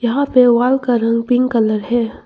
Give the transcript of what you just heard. यहां पे वॉल का रंग पिंक कलर है।